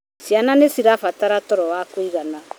Ciana nĩ cirabatara toro wa kũigana .